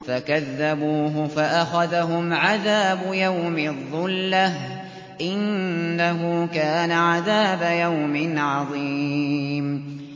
فَكَذَّبُوهُ فَأَخَذَهُمْ عَذَابُ يَوْمِ الظُّلَّةِ ۚ إِنَّهُ كَانَ عَذَابَ يَوْمٍ عَظِيمٍ